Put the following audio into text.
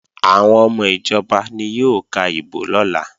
Àwọn ọmọ ìjọba ni yóò ka ìbò lọ́la